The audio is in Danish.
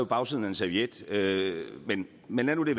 bagsiden af en serviet serviet men men lad nu det